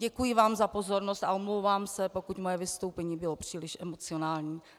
Děkuji vám za pozornost a omlouvám se, pokud moje vystoupení bylo příliš emocionální.